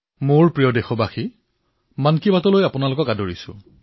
মোৰ মৰমৰ দেশবাসীসকল মন কী বাতলৈ আপোনাক স্বাগতম